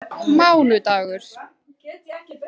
mánudagur